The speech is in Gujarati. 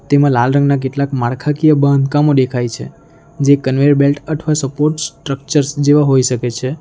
એમાં લાલ રંગના કેટલાક માળખાકીય બાંધકામો દેખાય છે જે કન્વેયર બેલ્ટ અથવા સપોર્ટ સ્ટ્રક્ચર્સ જેવા હોઈ શકે છે.